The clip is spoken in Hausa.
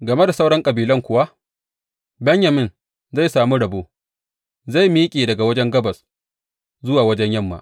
Game da sauran kabilun kuwa, Benyamin zai sami rabo; zai miƙe daga wajen gabas zuwa wajen yamma.